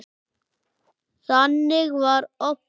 Þannig var Obba.